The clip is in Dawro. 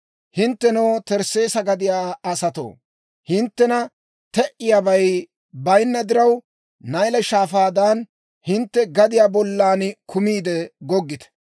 Hinttenoo, Tarsseesa gadiyaa asatoo, hinttena te"iyaabay bayinna diraw, Nayle Shaafaadan, hintte gadiyaa bollan kumiide goggite.